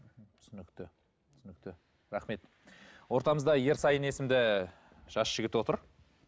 түсінікті түсінікті рахмет ортамызда ерсайын есімді жас жігіт отыр